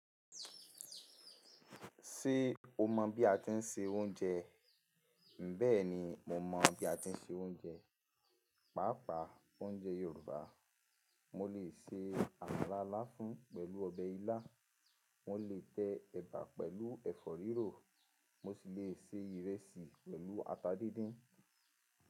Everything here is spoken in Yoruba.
Ṣé o mọ̀ bí a ti ń se oúnjẹ? Bẹ́ẹ̀ni, mo mọ̀ bí a ti ń se oúnjẹ, pàápàá oúnjẹ Yorùbá. Mo lè se àmàlà láfún pẹ̀lú ọbẹ̀ ilá, mo lè tẹ ẹ̀bà pẹ̀lú ẹ̀fọ́ rírò, mo sì lè se ìrẹsì pẹ̀lú ata díndín.